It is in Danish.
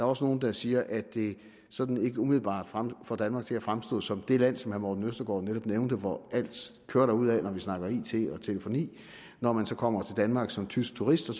også nogle der siger at det sådan ikke umiddelbart får danmark til at fremstå som det land som herre morten østergaard netop nævnte hvor alt kører derudad når vi snakker it og telefoni når man så kommer til danmark som tysk turist og